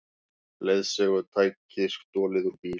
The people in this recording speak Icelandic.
Leiðsögutæki stolið úr bíl